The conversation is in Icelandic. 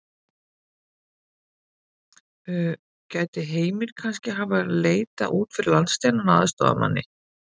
Gæti Heimir kannski hafa leitað út fyrir landsteinana að aðstoðarmanni?